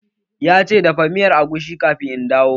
Ya ce "Dafa miyar agushi kafin in dawo"!